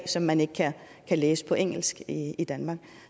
som man ikke kan læse på engelsk i danmark